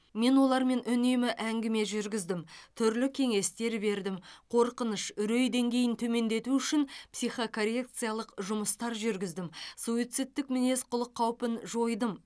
мен олармен үнемі әңгіме жүргіздім түрлі кеңестер бердім қорқыныш үрей деңгейін төмендету үшін психокоррекциялық жұмыстар жүргіздім суицидтік мінез құлық қаупін жойдым